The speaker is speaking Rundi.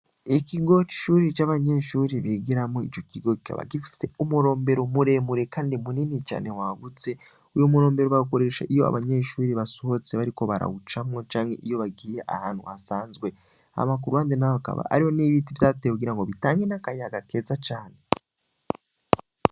Ikigoka ishuri c'abanyeshuri bigeramo ico kigokaba gifise umurombero muremure, kandi munini cane wagutse wiyo umurombero bagoresha iyo abanyeshuri basohotse bariko barawucamwo canke iyo bagiye ahantu hasanzwe amakuru hande n'ahakaba ariho n'ibiti vyatee kugira ngo bitange n'akayaga keza cane.